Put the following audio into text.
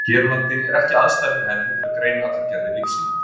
Hér á landi er ekki aðstaða fyrir hendi til að greina allar gerðir lífsýna.